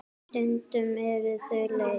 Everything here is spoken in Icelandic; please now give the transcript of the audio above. Stundum eru þau leið.